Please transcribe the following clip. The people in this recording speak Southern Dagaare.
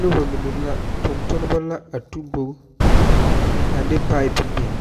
Noba mine la, tontoneba la a tu bogi a de pipe biŋ